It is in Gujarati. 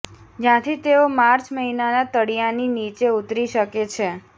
જ્યાંથી તેઓ માર્ચ મહિનાના તળિયાની નીચે ઊતરી શકે છે